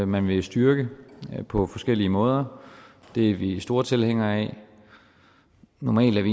man vil styrke på forskellige måder det er vi store tilhængere af normalt er